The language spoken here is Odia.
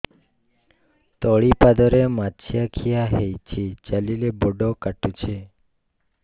ତଳିପାଦରେ ମାଛିଆ ଖିଆ ହେଇଚି ଚାଲିଲେ ବଡ଼ କାଟୁଚି